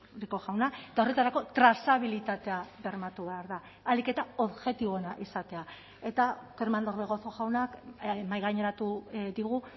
rico jauna eta horretarako trazabilitatea bermatu behar da ahalik eta objektiboena izatea eta kerman orbegozo jaunak mahaigaineratu digu